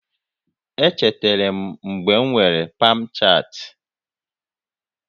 Echetere m mgbe m nwere Pamchat